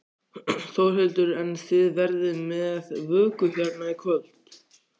Þórhildur: En þið verðið með vöku hérna í kvöld?